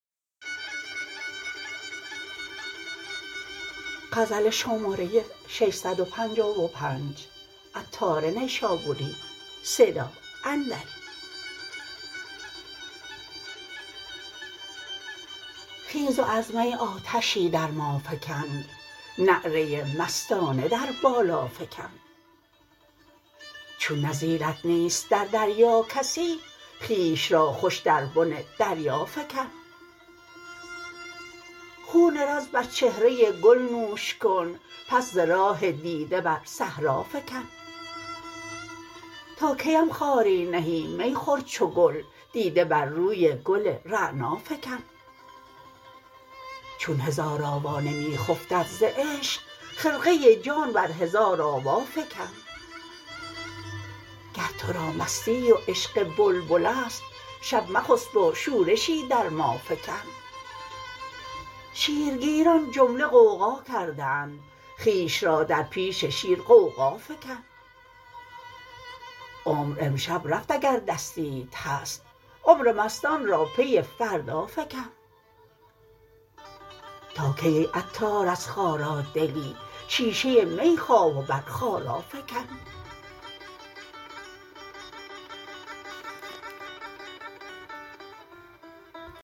خیز و از می آتشی در ما فکن نعره مستانه در بالا فکن چون نظیرت نیست در دریا کسی خویش را خوش در بن دریا فکن خون رز بر چهره گل نوش کن پس ز راه دیده بر صحرا فکن تا کیم خاری نهی می خور چو گل دیده بر روی گل رعنا فکن چون هزار آوا نمی خفتد ز عشق خرقه جان بر هزار آوا فکن گر تو را مستی و عشق بلبل است شب مخسب و شورشی در ما فکن شیر گیران جمله غوغا کرده اند خویش را در پیش شیر غوغا فکن عمر امشب رفت اگر دستیت هست عمر مستان را پی فردا فکن تا کی ای عطار از خارا دلی شیشه می خواه و بر خارا فکن